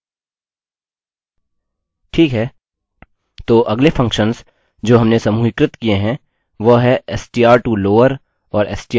ठीक है– तो अगले फंक्शन्स जो हमने समूहीकृत किए हैं वह हैं: str to lower और str to upper